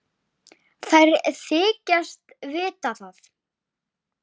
Þær þykjast vita það.